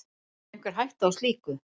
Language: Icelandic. Er einhver hætta á slíku?